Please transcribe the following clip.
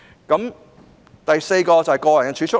第四支柱是個人儲蓄。